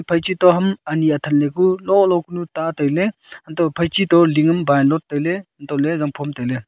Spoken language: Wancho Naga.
phaiche to ham ane athen le ku lo lo ku nu ta tai ley phaiche to ling am tai ley untoh ley zang phom tai ley.